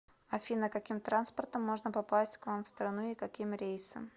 афина каким транспортом можно попасть к вам в страну и каким рейсом